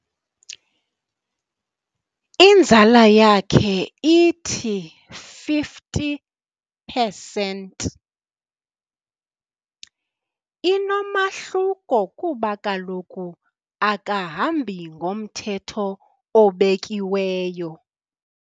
Inzala yakhe ithi fifty pesenti. Inomahluko kuba kaloku akahambi ngomthetho obekiweyo.